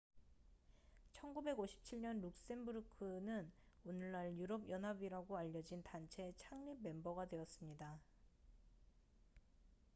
1957년 룩셈부르크는 오늘날 유럽 연합이라고 알려진 단체의 창립 멤버가 되었습니다